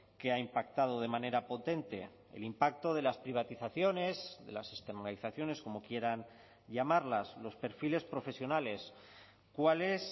que ha impactado de manera potente el impacto de las privatizaciones de las externalizaciones como quieran llamarlas los perfiles profesionales cuál es